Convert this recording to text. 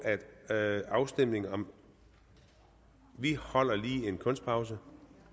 at afstemning om … vi holder lige en kunstpause